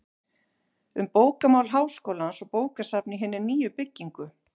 Um bókamál Háskólans og bókasafn í hinni nýju byggingu